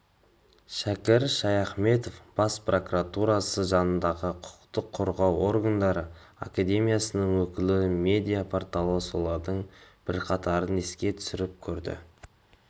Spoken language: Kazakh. шәкір шаяхметов бас прокуратурасы жанындағы құқық қорғау органдары академиясының өкілі медиа-порталы солардың бірқатарын еске түсіріп көрді